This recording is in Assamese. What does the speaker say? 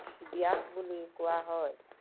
ব্য়াস বুলি কোৱা হয়।